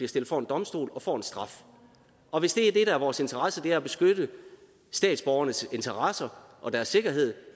stillet for en domstol og får en straf og hvis det der er vores interesse er at beskytte statsborgernes interesser og deres sikkerhed